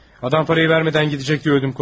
Adam pulu vermədən gedəcək deyə ürəyim partladı.